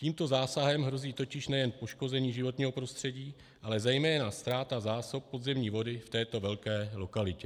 Tímto zásahem hrozí totiž nejen poškození životního prostředí, ale zejména ztráta zásob podzemní vody v této velké lokalitě.